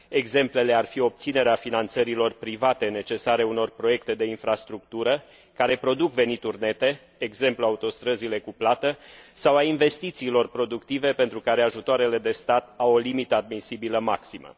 Exemplele ar fi obținerea finanțărilor private necesare unor proiecte de infrastructură, care produc venituri nete, de exemplu autostrăzile cu plată, sau a investițiilor productive pentru care ajutoarele de stat au o limită admisibilă maximă.